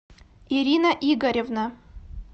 ирина игоревна